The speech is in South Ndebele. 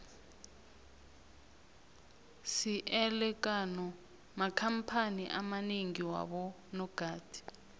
siele kano makhamphani amanengi wabo nogada